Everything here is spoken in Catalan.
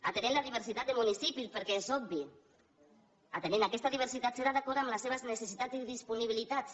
atenent la diversitat de municipis perquè és obvi atenent aquesta diversitat serà d’acord amb les seves necessitats i disponibilitats